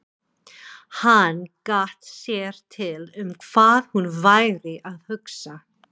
Hann gat sér til um hvað hún væri að hugsa.